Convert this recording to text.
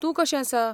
तूं कशें आसा?